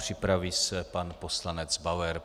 Připraví se pan poslanec Bauer.